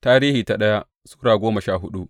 daya Tarihi Sura goma sha hudu